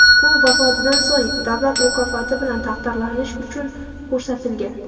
U vafotidan so‘ng davlat mukofoti bilan taqdirlanish uchun ko‘rsatilgan.